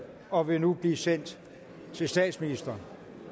og vil nu blive sendt til statsministeren